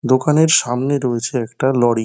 দোকানের সামনে রয়েছে একটা লরি ।